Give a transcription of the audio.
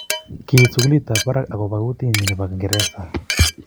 Kiit sukulit ab barak ak kobo kotee nyii ne bo ngeresa.